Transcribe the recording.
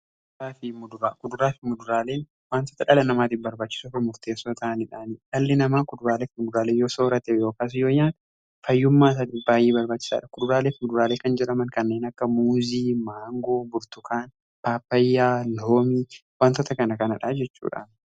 kuduraa fi muduraaleen wantoota dhala namaatiif barbaachisuu fi murteessoo ta'aniidha. Dhalli namaa kuduraaleef muduraalee yoo soorate yookaas yoon yaada fayyummaansa baay'ee barbaachisaadha. Kuduraalee fi muduraalee kan jedhaman kanneen akka muuzii, maangoo, burtukaanaa, paapayyaa fi loomii wantoota kana jechuudha.